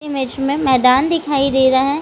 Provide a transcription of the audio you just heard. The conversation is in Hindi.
इमेज़ में मैदान दिखाई दे रहा हैं।